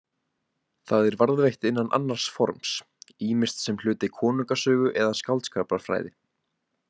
Það er varðveitt innan annars forms, ýmist sem hluti konungasögu eða skáldskaparfræði.